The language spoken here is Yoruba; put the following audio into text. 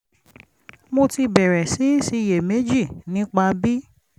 mo ti bẹ̀rẹ̀ sí í ṣiyèméjì nípa bí